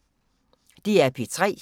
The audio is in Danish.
DR P3